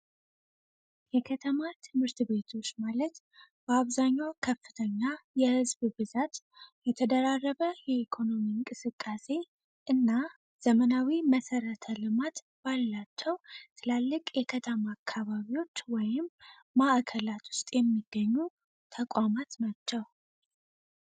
የከተማ ትምህርት ቤቶች ማለት በአብዛኛው ከፍተኛ የህዝብ ብዛት የተደራረበ የኢኮኖሚ እንቅስቃሴ እና ዘመናዊ መሰረተ ልማት ባላቸው ትላለቅ የከተማ አካባቢዎች ወይም ማዕከላት ውስጥ የሚገኙ ተቋማት ናቸው።